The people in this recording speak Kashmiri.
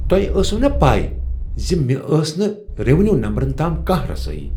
تۄہہ اوسوٕ نا پے ز مےٚ ٲس نہٕ ریونیو نمبرن تام کانٛہہ رسٲیی؟